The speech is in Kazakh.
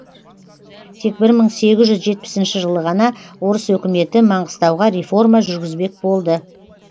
тек бір мың сегіз жүз жетпісінші жылы ғана орыс өкіметі маңғыстауға реформа жүргізбек болды